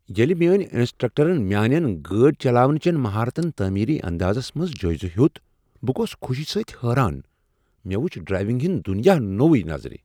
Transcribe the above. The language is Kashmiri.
ییٚلہ میٛٲنہِ انسٹرکٹرن میٛانٮ۪ن گٲڑِ چلاونہٕ چن مہارتن تعمیری اندازس منٛز جٲیزٕ ہیوٚت، بہٕ گوس خوشی سۭتۍ حٲران۔ مےٚ وٗچھ ڈرایونٛگ ہنٛد دنیا نو نظرِ ۔